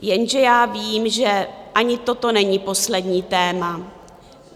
Jenže já vím, že ani toto není poslední téma.